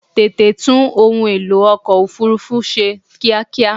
Tètè tún ohun èlò ọkọ̀ òfúrúfú ṣe kíákíá!